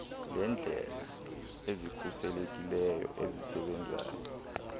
leendlela ezikhuselekileyo ezisebenzayo